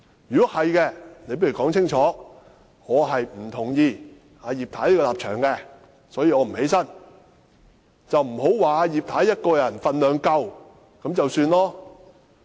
如果是這樣，你倒不如說清楚：我不同意葉太的立場，所以我不站起來；而不要說葉太一個人分量已經足夠。